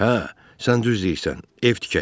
Hə, sən düz deyirsən, ev tikək.